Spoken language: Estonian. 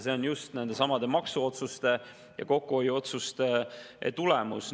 See on just nendesamade maksuotsuste ja kokkuhoiuotsuste tulemus.